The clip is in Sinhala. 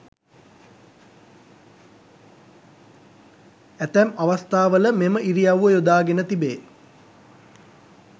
ඇතැම් අවස්ථාවල මෙම ඉරියව්ව යොදාගෙන තිබේ.